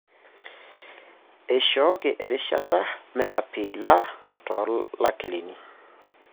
eishooki erishata meapiila toolakilini.